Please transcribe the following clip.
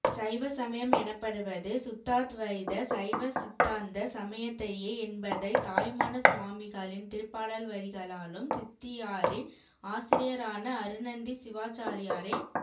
சைவசமயம் எனப்படுவது சுத்தாத்வைத சைவசித்தாந்த சமயத்தையே என்பதை தாயுமானசுவாமிகளின் திருப்பாடல்வரிகளாலும் சித்தியாரின் ஆசிரியரான அருணந்தி சிவாச்சாரியாரே